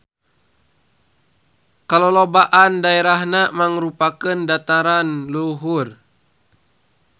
Kalolobaan daerahna mangrupakeun dataran luhur.